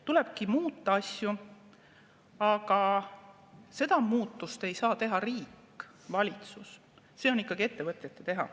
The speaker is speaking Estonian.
Tulebki muuta asju, aga seda muutust ei saa teha riik, valitsus, see on ikkagi ettevõtete teha.